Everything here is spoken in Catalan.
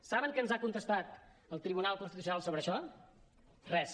saben què ens ha contestat el tribunal constitucional sobre això res